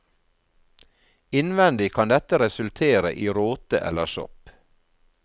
Innvendig kan dette resultere i råte eller sopp.